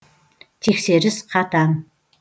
тексеріс қатаң